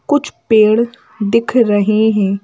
कुछ पेड़ दिख रहे हैं।